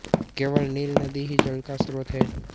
केवल नील नदी ही जल का स्रोत है